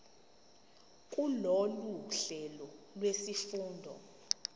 kulolu hlelo lwezifundo